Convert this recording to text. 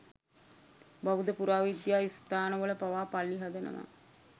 බෞද්ධ පුරාවිද්‍යා ස්ථානවල පවා පල්ලි හදනවා.